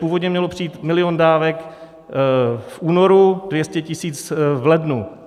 Původně mělo přijít milion dávek v únoru, 200 000 v lednu.